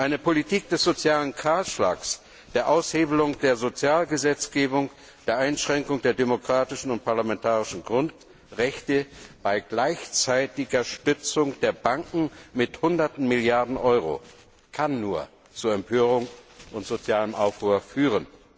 Eine Politik des sozialen Kahlschlags, der Aushebelung der Sozialgesetzgebung, der Einschränkung der demokratischen und parlamentarischen Grundrechte bei gleichzeitiger Stützung der Banken mit hunderten Milliarden Euro kann nur zu Empörung und sozialem Aufruhr führen.